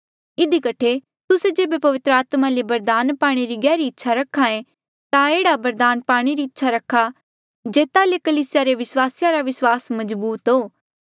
इधी कठे तुस्से जेबे पवित्र आत्मा ले बरदाना पाणे री गहरी इच्छा रखे ता एह्ड़ी बरदाना पाणे री इच्छा रखा जेता ले कलीसिया रे विस्वासिया रा विस्वास मजबूत हो